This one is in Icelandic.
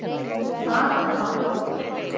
Þar er málið.